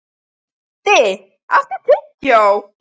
Baddi, áttu tyggjó?